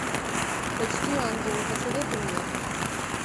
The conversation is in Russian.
почти ангелы посоветуй мне